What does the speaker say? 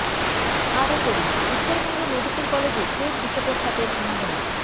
আরও পড়ুন উত্তরবঙ্গ মেডিক্যাল কলেজে ফের বিষধর সাপের আনাগোনা